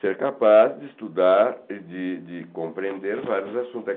Ser capaz de estudar e de de compreender vários assuntos.